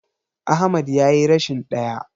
Ahmad yayi rashin ɗaya.